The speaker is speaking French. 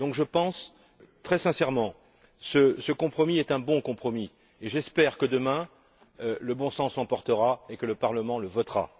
Je pense donc, très sincèrement, que ce compromis est un bon compromis et j'espère que, demain, le bon sens l'emportera et que le Parlement le votera.